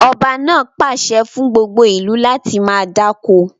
Ọba náà pàṣẹ fún gbogbo ìlú láti máa dáko!